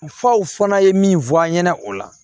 Faw fana ye min fɔ an ɲɛna o la